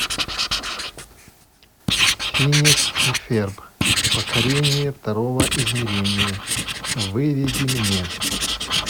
финес и ферб покорение второго измерения выведи мне